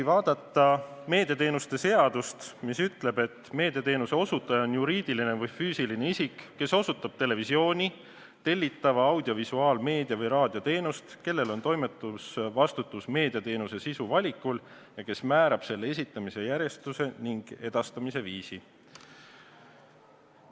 Meediateenuste seadus ütleb, et meediateenuse osutaja on juriidiline või füüsiline isik, kes osutab televisiooni-, tellitava audiovisuaalmeedia või raadioteenust, kellel on toimetusvastutus meediateenuse sisu valikul ja kes määrab selle esitamise järjestuse ning edastamise viisi.